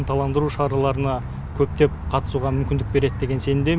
ынталандыру шараларына көптеп қатысуға мүмкіндік береді деген сенімдемін